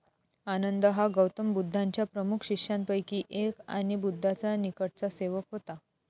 आनंद हा गौतम बुद्धांच्या प्रमुख शिष्यांपैकी एक आणि बुद्धाचा निकटचा सेवक होता.